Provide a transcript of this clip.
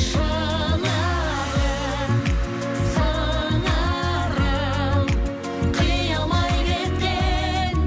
шынарым сыңарым қия алмай кеткен